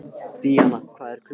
Díanna, hvað er klukkan?